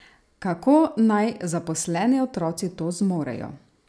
Kako naj zaposleni otroci to zmorejo?